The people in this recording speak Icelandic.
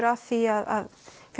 að því að